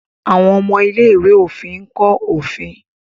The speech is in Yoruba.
àwọn ọmọ ilé-ìwé òfin nkọ òfin.